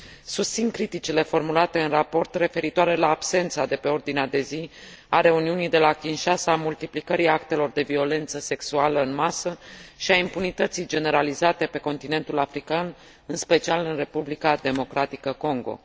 Susțin criticile formulate în raport referitoare la absența de pe ordinea de zi a reuniunii de la Kinshasa a multiplicării actelor de violență sexuală în masă și a impunității generalizate pe continentul african, în special în Republica Democratică Congo.